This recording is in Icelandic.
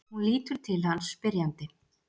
Hún lítur til hans spyrjandi.